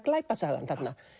glæpasagan þarna